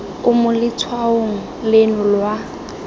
o mo letshwaong leno lwa